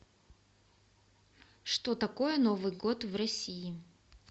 что такое новый год в россии